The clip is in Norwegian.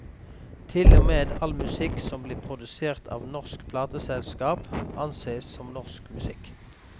Til og med all musikk som blir produsert av norsk plateselskap ansees som norsk musikk.